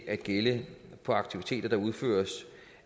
at gælde aktiviteter der udføres